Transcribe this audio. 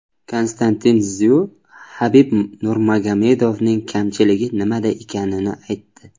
Konstantin Szyu Habib Nurmagomedovning kamchiligi nimada ekanini aytdi.